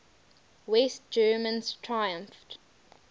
west germans triumphed